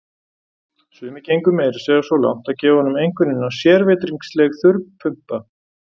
Sumir gengu meira að segja svo langt að gefa honum einkunnina sérvitringsleg þurrpumpa.